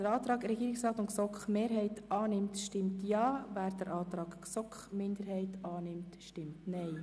Wer den Antrag von Regierungsrat und GSoK-Mehrheit annimmt, stimmt Ja, wer dem Antrag der GSoK-Minderheit den Vorzug gibt, stimmt Nein.